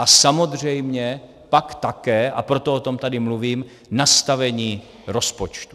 A samozřejmě pak také, a proto o tom tady mluvím, nastavení rozpočtu.